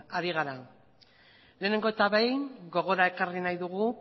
ari gara lehenengo eta behin gogora ekarri nahi dugu